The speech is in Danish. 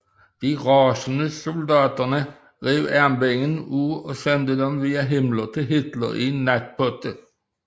De rasende soldater rev armbindene af og sendte dem via Himmler til Hitler i en natpotte